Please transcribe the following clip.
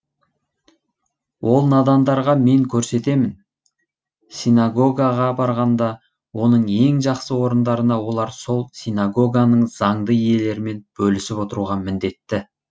ол надандарға мен көрсетемін синагогаға барғанда оның ең жақсы орындарына олар сол синагоганың заңды иелерімен бөлісіп отыруға міндетті